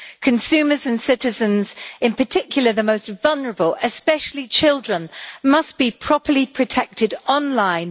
Consumers and citizens, in particular the most vulnerable, especially children, must be properly protected online.